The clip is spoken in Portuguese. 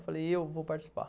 Eu falei, eu vou participar.